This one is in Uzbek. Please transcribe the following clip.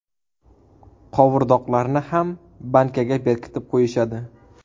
Qovurdoqlarni ham bankaga bekitib qo‘yishadi.